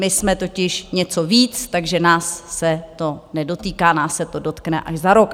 My jsme totiž něco víc, takže nás se to nedotýká, nás se to dotkne až za rok.